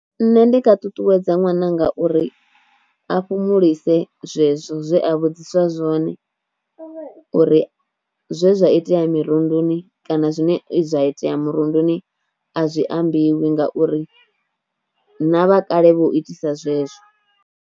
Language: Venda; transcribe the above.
Nṋe ndi nga ṱuṱuwedza ṅwananga uri a fhumulise zwezwo zwe a vhudziswa zwone uri zwe zwa itea mirunduni kana zwine zwa itea murunduni a zwi ambiwa ngauri na vhakale vho itisa zwezwo.